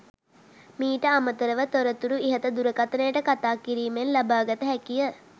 මීට අමතරව තොරතුරු ඉහත දුරකථනයට කතා කිරීමෙන් ලබාගත හැකිය.